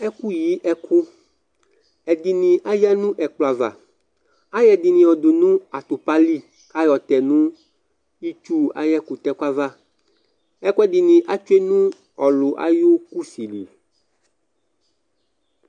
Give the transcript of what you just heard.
Ɛfu yɩ ɛku Ɛdini ayanu ɛkplɔ'aʋa, ayɔ ɛdini yɔdu n'atukpa lɩ k'ayɔ tɛ nu itsu ay'ɛkutɛku ava Ekuɛdini atsue nu olu ay'usi lɩ